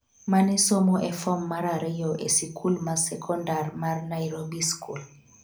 mane somo e fom mar ariyo e sikul ma sekondar mar ' Nairobi School'